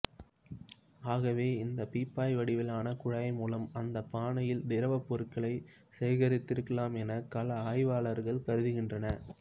ஆகவே இந்தப் பீப்பாய் வடிவிலான குழாய் மூலம் அந்தப் பானையில் திரவப் பொருளைச் சேகரித்திருக்கலாம் என கள ஆய்வாளர்கள் கருதுகின்றன